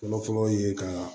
Fɔlɔfɔlɔ ye ka